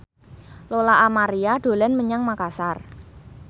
Lola Amaria dolan menyang Makasar